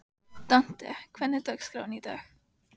Dante, hvernig er dagskráin í dag?